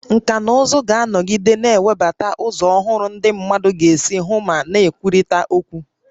Nkà na ụzụ ga-anọgide na-ewebata ụzọ ọhụrụ ndị mmadụ ga-esi hụ ma na-ekwurịta okwu